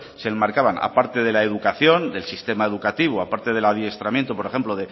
se enmarcaba aparte de la educación del sistema educativo a parte del adiestramiento por ejemplo